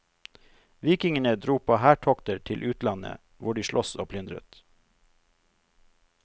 Vikingene dro på hærtokter til utlandet, hvor de sloss og plyndret.